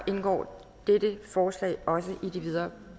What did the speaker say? indgår dette forslag også i de videre